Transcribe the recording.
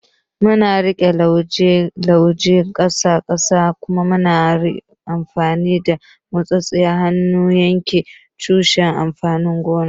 Muna riƙe lauje ƙasa ƙasa kuma muna amfani da motsa hannu don yanke tushen amfanin gona.